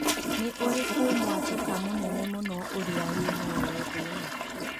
nĩ ũrikũ mũatuka mũnene mũno ũrĩa wĩ mũoyo thĩ ĩno